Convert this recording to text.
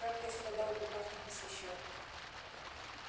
как я страдал в руках непосвящённых